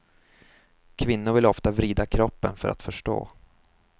Kvinnor vill ofta vrida kroppen för att förstå.